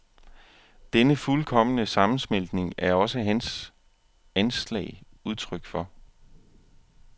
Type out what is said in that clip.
Denne fuldkomne sammensmeltning er også hans anslag udtryk for.